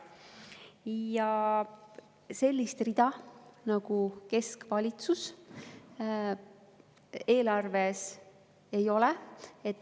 Ja sellist rida nagu keskvalitsus eelarves ei ole.